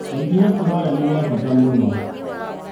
O ikinya tũroya nĩ rĩa bata mũno.